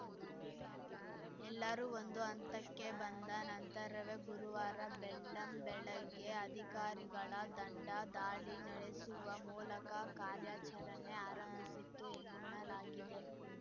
ಎಲ್ಲರೂ ಒಂದು ಹಂತಕ್ಕೆ ಬಂದ ನಂತರವೇ ಗುರುವಾರ ಬೆಳ್ಳಂಬೆಳಗ್ಗೆ ಅಧಿಕಾರಿಗಳ ದಂಡ ದಾಳಿ ನಡೆಸುವ ಮೂಲಕ ಕಾರ್ಯಾಚರಣೆ ಆರಂಭಿಸಿತು ಎನ್ನಲಾಗಿದೆ